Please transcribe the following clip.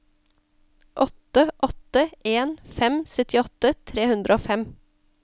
åtte åtte en fem syttiåtte tre hundre og fem